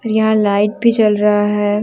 यहां लाइट भी जल रहा है।